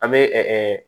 An bɛ